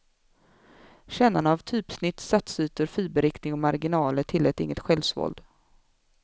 Kännarna av typsnitt, satsytor, fiberriktning och marginaler tillät inget självsvåld.